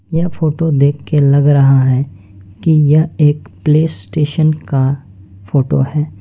यह फोटो देख के लग रहा है कि यह एक प्ले स्टेशन का फोटो है।